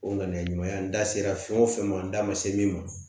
O ŋaniya ɲuman ye an da sera fɛn o fɛn ma n da ma se min ma